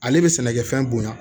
Ale bɛ sɛnɛkɛfɛn bonya